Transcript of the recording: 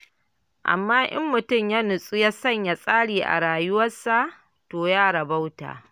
Amma in mutum ya nutsu ya sanya tsari a rayuwarsa, to ya rabauta.